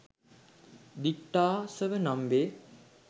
දිට්ඨාසව නම් වේ.